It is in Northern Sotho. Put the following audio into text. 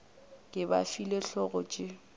ke ba file hlogo tše